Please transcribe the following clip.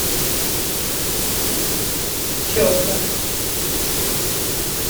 щетка